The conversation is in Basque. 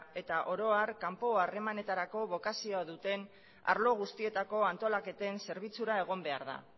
eta oro har kanpo harremanetarako bokazio duten arlo guztietako antolaketen zerbitzura egon behar da